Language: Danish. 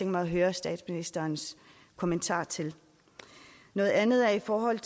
mig at høre statsministerens kommentar til noget andet er i forhold